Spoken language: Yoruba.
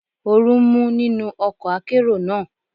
Oru ń mú nínú ọkọ̀ akérò náà.